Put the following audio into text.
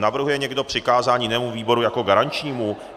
Navrhuje někdo přikázání jinému výboru jako garančnímu?